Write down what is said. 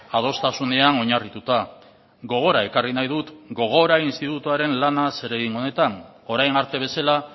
adostasunean oinarrituta gogora ekarri nahi dut gogora institutuaren lana zeregin honetan orain arte bezala